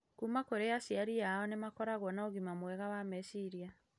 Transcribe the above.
kuma kũrĩ aciari ao nĩ makoragwo na ũgima mwega wa meciria.